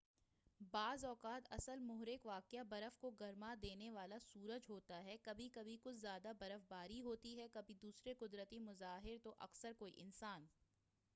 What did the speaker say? بعض اوقات اصل محرک واقعہ برف کو گرما دینے والا سورج ہوتا ہے کبھی کبھی کچھ زیادہ برف باری ہوتی ہے کبھی دوسرے قدرتی مظاہر تو اکثر کوئی انسان